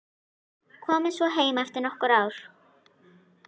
Komið svo heim eftir nokkur ár.